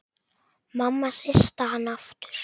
Mamma hristi hann aftur.